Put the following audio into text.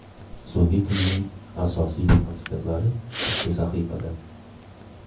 So‘nggi kunning asosiy transferlari bitta sahifada.